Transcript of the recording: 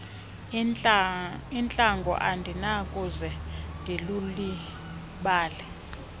entlango andinakuze ndilulibale